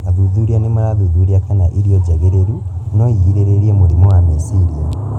Athuthuria nĩmarathuthuria kana irio njagĩrĩru noigirĩrĩrie mũrimũ wa meciria